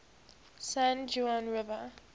san juan river